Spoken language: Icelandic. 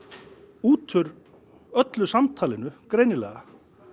út úr öllu samtalinu greinilega